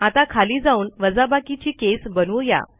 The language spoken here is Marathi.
आता खाली जाऊन वजाबाकीची केस बनवू या